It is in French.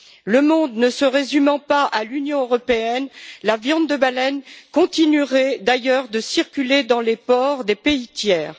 Le monde ne se résumant pas à l'Union européenne, la viande de baleine continuerait d'ailleurs de circuler dans les ports des pays tiers.